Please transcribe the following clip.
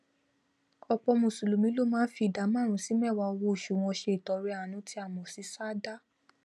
òpò mùsùlùmí ló máá fi ìdá máàrún sí méèwá owó osù wọn se ìtọrẹ àánú tí a mò sí sàádà